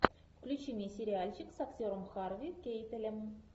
включи мне сериальчик с актером харви кейтелем